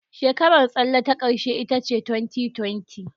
Shekarar tsalle ta ƙarshe ita ce 2020.